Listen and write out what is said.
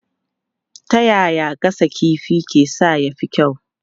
Ta yaya gasa kifi ke sa ya fi kyau?